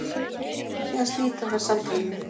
Síðan slíta þær samtalinu.